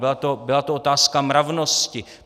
Byla to otázka mravnosti.